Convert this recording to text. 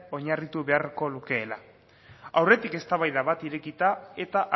oinarritu beharko lukeela aurretik eztabaida bat irekita eta